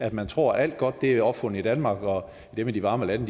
at man tror at alt godt er opfundet i danmark og at dem i de varme lande